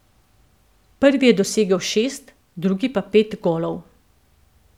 Prvi je dosegel šest, drugi pa pet golov.